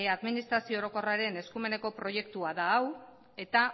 administrazio orokorraren eskumeneko proiektua da hau eta